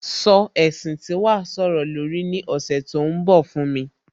Sọ ẹ̀sìn tí wàá sọ̀rọ̀ lórí ní ọ̀sẹ̀ tó ń bọ̀ fún mi